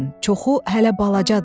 Çoxu hələ balacadır.